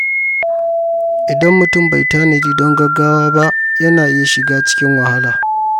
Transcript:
Idan mutum bai tanadi don gaggawa ba, yana iya shiga cikin wahala.